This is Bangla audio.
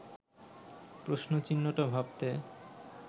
প্রশ্নচিহ্নটা ভাবতে